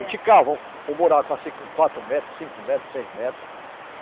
cava um buraco, assim, com quatro metros, cinco metros, seis metros.